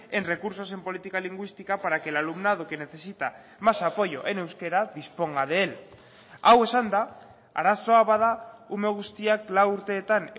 en recursos en política lingüística para que el alumnado que necesita más apoyo en euskera disponga de él hau esanda arazoa bada ume guztiak lau urteetan